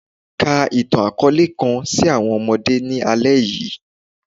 Ka itan-akọọlẹ kan si awọn ọmọde ni alẹ yii